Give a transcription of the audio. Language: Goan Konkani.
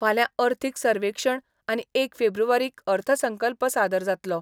फाल्यां अर्थीक सर्वेक्षण आनी एक फेब्रुवारीक अर्थसंकल्प सादर जातलो.